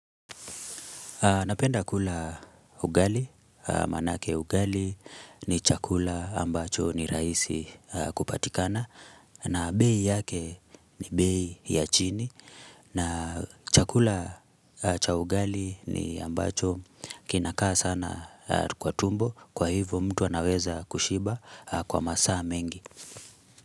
Napenda kula ugali, manake ugali ni chakula ambacho ni raisi kupatikana na bei yake ni bei ya chini na chakula cha ugali ni ambacho kinakaa sana kwa tumbo kwa hivyo mtu anaweza kushiba kwa masaa mengi.